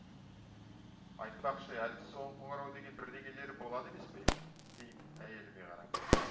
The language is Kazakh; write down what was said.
айтпақшы әлгі соңғы қоңырау деген бірдеңелері болады емес пе деймін әйеліме қарап